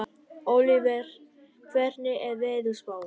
Ólíver, hvernig er veðurspáin?